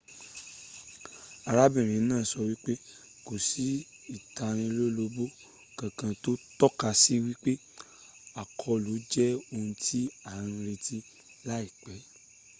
arábìnrin náà sọ wípé kò sí ìtalólobó kankan tó tọ́ka sí wípé àkọlù jẹ ohun ti à ń retí láìpẹ́